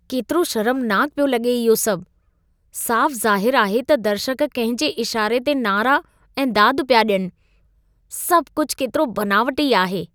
केतिरो शर्मनाक पियो लगे॒ इहो सभु! साफ़ु ज़ाहिरु आहे त दर्शक कंहिं जे इशारे ते नारा ऐं दादु पिया ॾियनि। सभु कुझु केतिरो बनावटी आहे!